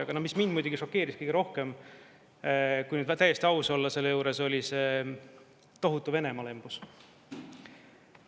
Aga mis mind muidugi šokeeris kõige rohkem, kui nüüd täiesti aus olla selle juures, oli see tohutu Venemaa-lembus.